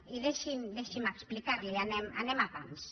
i deixi’m deixi’m explicar li ho anem a pams